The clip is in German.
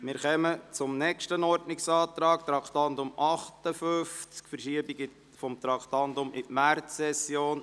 Wir kommen zum nächsten Ordnungsantrag betreffend Traktandum 58 und dessen Verschiebung in die Märzsession.